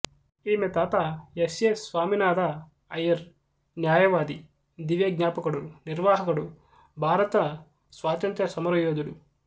ఈమె తాత S A Saminatha Iyer న్యాయవాది దివ్యజ్ఞాపకుడు నిర్వాహకుడు భారత స్వాతంత్ర్య సమరయోధుడు